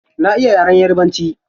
Na iya yaren yarabanci.